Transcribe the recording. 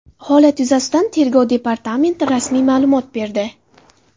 Holat yuzasidan Tergov departamenti rasmiy ma’lumot berdi .